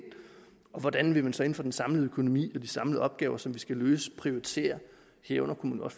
og hvordan vil man så inden for den samlede økonomi og de samlede opgaver som de skal løse prioritere herunder kunne